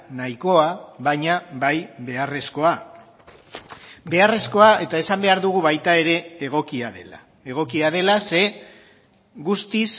nahikoa baina bai beharrezkoa beharrezkoa eta esan behar dugu baita ere egokia dela egokia dela ze guztiz